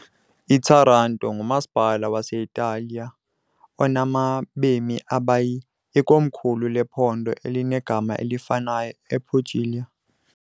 Taranto ngumasipala wase-Italiya onabemi abayi , ikomkhulu lephondo elinegama elifanayo, ePuglia.